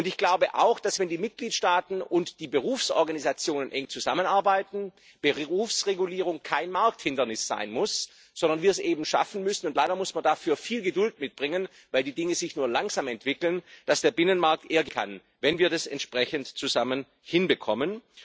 Ich glaube auch, dass, wenn die Mitgliedstaaten und die Berufsorganisationen eng zusammenarbeiten, Berufsregulierung kein Markthindernis sein muss, sondern wir es eben schaffen müssen leider muss man dafür viel Geduld mitbringen, weil die Dinge sich nur langsam entwickeln und dass der Binnenmarkt eher gelingen kann, wenn wir das entsprechend zusammen hinbekommen.